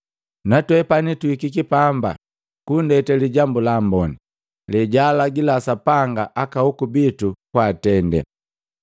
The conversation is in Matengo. Natwepani tuhikiki pambani kunndete Lijambu la Amboni, lijambu lejaalagila Sapanga aka hoku bitu kwaatende,